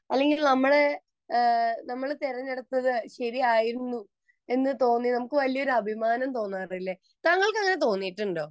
അല്ലെങ്കിൽ നമ്മള് നമ്മൾ തെരഞ്ഞെടുത്തത് ശരിയായിരുന്നു എന്ന് തോന്നി നമുക്ക് വലിയ ഒരു അഭിമാനം തോന്നാറില്ലേ താങ്കൾക്ക് അങ്ങനെ തോന്നിയിട്ടുണ്ടോ